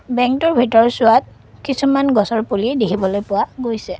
বেঙ্কটোৰ ভিতৰচোৱাত কিছুমান গছৰ পুলি দেখিবলৈ পোৱা গৈছে।